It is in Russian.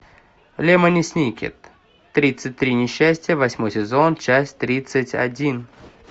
лемони сникет тридцать три несчастья восьмой сезон часть тридцать один